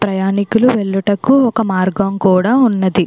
ప్రయాణికుల వెళ్ళుటకు ఒక మార్గం కూడా ఉన్నది.